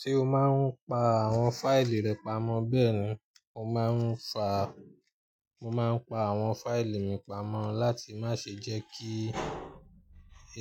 Ṣé o máa ń pa àwọn fáìlì rẹ pamọ́ bẹ́ẹ̀ ni, mo máa ń fa, mo máa ń pa àwọn fáìlì mi pamọ́ láti má ṣe jẹ́ kí